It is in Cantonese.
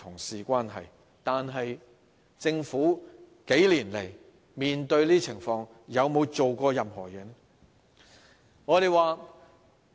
數年來面對這些情況，政府有沒有做過任何事情？